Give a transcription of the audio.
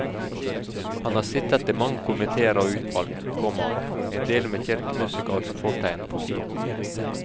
Han har sittet i mange komitéer og utvalg, komma endel med kirkemusikalsk fortegn. punktum